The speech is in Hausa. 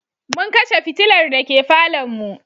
Mun kashe fitilar dake falonmu.